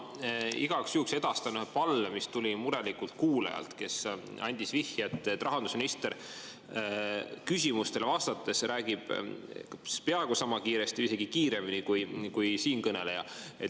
Ma igaks juhuks edastan ühe palve, mis tuli murelikult kuulajalt, kes andis vihje, et rahandusminister küsimustele vastates räägib peaaegu sama kiiresti või isegi kiiremini kui siinkõneleja.